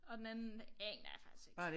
Og den anden aner jeg faktisk ikke